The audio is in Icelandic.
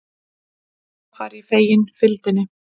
Samt var ég fegin fylgdinni.